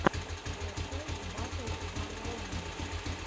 скачай батл варромана